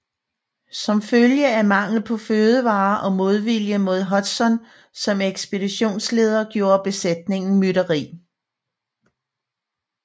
Som følge af mangel på fødevarer og modvilje mod Hudson som ekspeditionsleder gjorde besætningen mytteri